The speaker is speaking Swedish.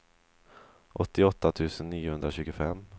åttioåtta tusen niohundratjugofem